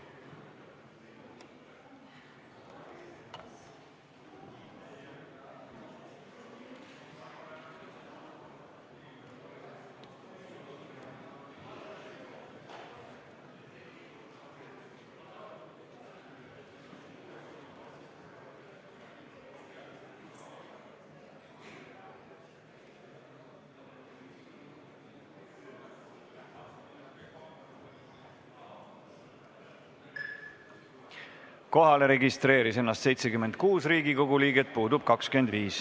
Kohaloleku kontroll Kohalolijaks registreeris ennast 76 Riigikogu liiget, puudub 25.